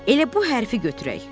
Elə bu hərfi götürək.